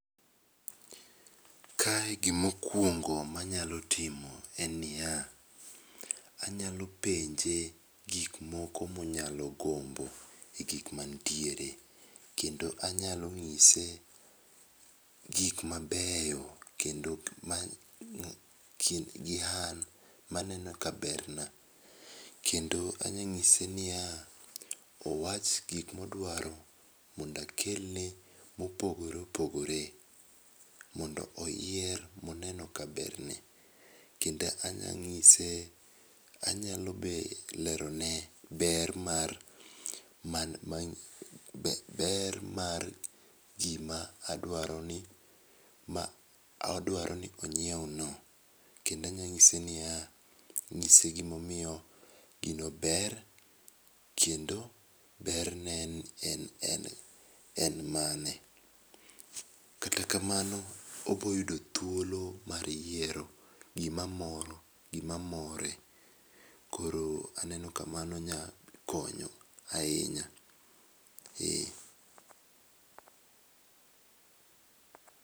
Kae gi ma okuongo ma anyalo timo en ni ya, anyalo penje gi ma onyalo gombo kuom gik ma nitiere kendo anyalo ng'ise gik ma beyo kendo ma kind gi an ma aneno ka ber na kendo anya ng'ise ni ya owach gik ma odwaro mondo akel ne ma opogore opogore mondo oyier mo oneno ka ber ne. Kendo anya ng'ise anyalo be lerone ber mar gi ber mar gi ma adwaro ni ong'iew no kendo anya ng'ise n i ya ng'ise gi ma omiyo ggino bero kendo ber ne en mane. Kata kamano obiro yudo thuolo mar yiero gi ma moro gi ma more koro aneno ka mano nyalo konyo ahinya.